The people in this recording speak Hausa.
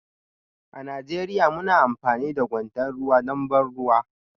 A Najeriya muna amfani da kwandon ruwa don ban ruwa